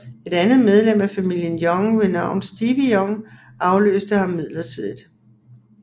Et andet medlem af familien Young ved navn Stevie Young afløste ham midlertidigt